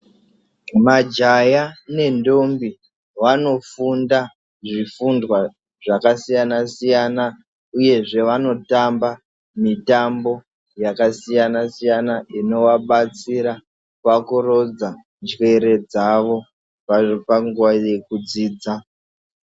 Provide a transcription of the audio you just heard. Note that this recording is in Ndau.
Majaya ne ndombi vano funda zvi fundwa zvaka siyana siyana uyezve vano tamba mitambo yaka siyana siyana inova batsira paku rodza njere dzavo panguva yeku dzidza.